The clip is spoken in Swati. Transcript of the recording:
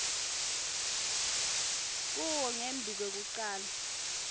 kuwo ngembi kwekucala